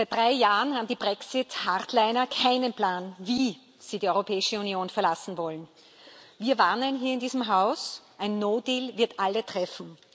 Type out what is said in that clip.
Seit drei Jahren haben die Brexit Hardliner keinen Plan, wie sie die Europäische Union verlassen wollen. Wir warnen hier in diesem Haus Ein wird alle treffen.